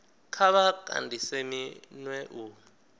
kha vha kandise minwe u